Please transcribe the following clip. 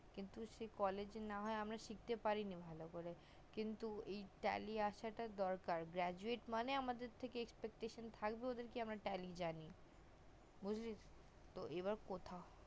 কিন্তু college আমরা না হয় শিখতে পারি নি ভালো করে কিন্তু এই tally আসা টা দরকার graduate মানে আমাদের থেকে spectator ওদের কে আমরা tally জানি বুজলি তো এবার কোথাও